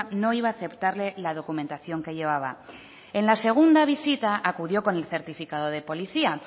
no iba a aceptarle la documentación que llevaba en la segunda visita acudió con el certificado de policía